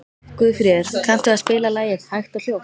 Guðfríður, kanntu að spila lagið „Hægt og hljótt“?